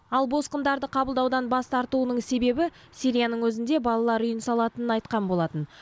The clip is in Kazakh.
ал босқындарды қабылдаудан бас тартуының себебі сирияның өзінде балалар үйін салатынын айтқан болатын